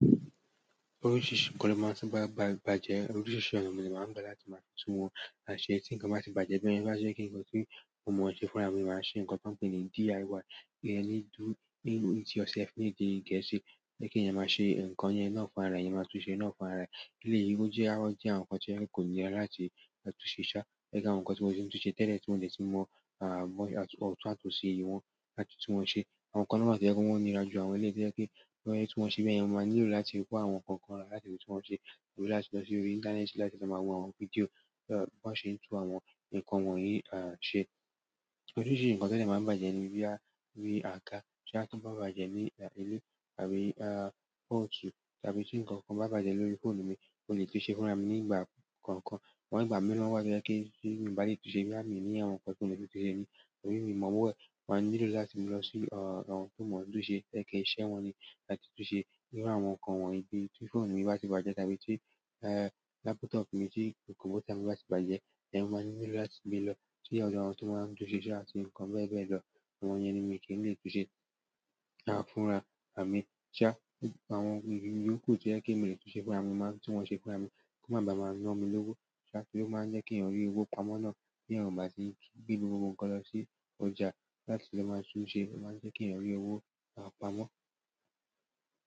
Oríṣiríṣi nǹkan ló máa ń ti bàjẹ́. Oríṣiríṣi ọ̀nà ni màá ń gbà láti máa tún wọn ṣe tí nǹkan bá ti bàjẹ́. Bí ẹni bá ṣe kí nǹkan tí kò mọ̀ ọ́n ṣe fúnra mi, màá ṣe nǹkan tí wọ́n pè ní DIY, "Do it yourself", ní ìdí i gẹ́ṣì, pe ki eeyan máa ṣe nǹkan yẹn náà fún ara ẹ, eeyan máa tún ṣe ná fún ara ẹ. Eleyii ó jẹ́ àárọ̀ jẹ́ àwọn nǹkan tí ẹ́ kò nílè láti máa tún ṣẹ̀ ṣá, gẹ́gẹ́ bí àwọn nǹkan tí wọn ṣe ń tún ṣe tẹ́lẹ̀ tí wọn ò lè tún mọ̀ à mọ̀ ọ́tun àti ósi ìwọ̀n láti tún wọn ṣe. Àwọn nǹkan náà máa jẹ́ kí wọn níra ju àwọn eleyii tío je pe kí wọn yẹn tún wọn ṣe bí ẹni yẹn máa nílò láti kó àwọn nǹkan kan wá láti tún wọn ṣe, wàá nílò láti lọ sí orí íńtánẹ́ẹ̀tì láti máa wo àwọn fídíò bí wọ́n ṣe ń tún àwọn nǹkan wọ̀nyí à ṣe. Oríṣiríṣi nǹkan to de máa ń bàjẹ́ ní boya àga tí a kàn bá bàjẹ́ ní ilé àbí a pot àbí tí nǹkan kan bá bàjẹ́ lórí fóònù mi mo le tun ṣe é fúnra mi nígbà kankan. Ṣùgbọ́n ìgbà mìíràn wá to jẹ́pe ti mi o ba lè tún ṣe boya mi ní àwọn nǹkan tí mo lè tún ṣe mi torí mi mọ̀ owo e mo nílò láti mu lọ sí àwọn tó mọ̀ ọ́n tún ṣe ẹ́ iṣẹ́ wọn ni láti tún ṣe. Bíru àwọn nǹkan wọ̀nyí bíi tí fóònù mi bá ti bàjẹ́ àbí tí laptop mi tì kọ̀m̀pútà mi bá ti bàjẹ́, yẹn máa nílò láti mu lọ sí ọdo awọ́n tí wọ́n máa ń tún ṣe ṣá áti nǹkan bẹ́ẹ̀ bẹ́ẹ̀ lọ. Àwọn yẹn ni mi kì í lè tún ṣe à fúnra à mi ṣá àwọn ìyoòkú tó jẹ́ kí èmi lè tún ṣe fúnra mi máa ń tún wọn ṣe fúnra mi kò máa ba máa na mi lówó ṣá tí ó máa ń jẹ́ kí èeyan rí owó pamọ́ náà beeyan bá sí gbe gbogbo nkan lọ sí ọjà láti lọ máa tún ṣé, ó máa ń jẹ́ kí ẹ̀eyan rí owó à pamọ́.